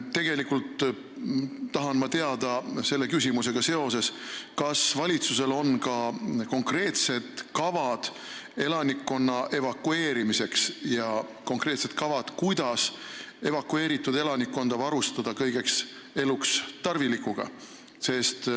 Tegelikult tahan ma sellega seoses teada, kas valitsusel on ka konkreetne kava elanikkonna evakueerimiseks ja plaan, kuidas evakueeritud elanikkonda varustada kõige eluks tarvilikuga.